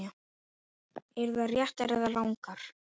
Eru þær réttar eða rangar?